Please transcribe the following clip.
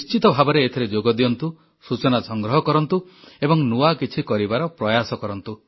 ଆପଣ ନିଶ୍ଚିତ ଭାବରେ ଏଥିରେ ଯୋଗଦିଅନ୍ତୁ ସୂଚନା ସଂଗ୍ରହ କରନ୍ତୁ ଏବଂ ନୂଆ କିଛି କରିବାର ପ୍ରୟାସ କରନ୍ତୁ